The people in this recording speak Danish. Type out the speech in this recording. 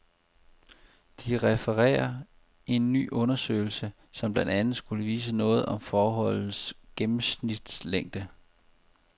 De refererer en ny undersøgelse, som blandt andet skulle vise noget om forholdets gennemsnitslængde.